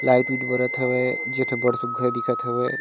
Light white बरत हवे जे बहुत सुघर दिखत हवे।